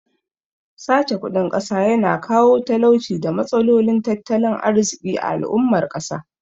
Sace kudin ƙasa ya na kawo talauci da matsalolin tattalin arziƙi ga al'ummar ƙasa